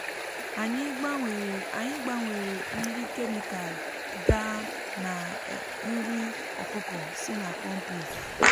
anyị gbanwere nri kemịkal gaa na um nri um ọkụkọ um si na kọmpost.